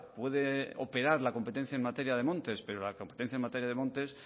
puede operar la competencia en materia de montes pero la competencia en materia de montes